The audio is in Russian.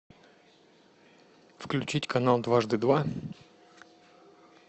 включить канал дважды два